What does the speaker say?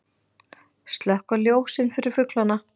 Slökkva ljósin fyrir fuglana